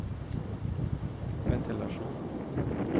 ventilasjon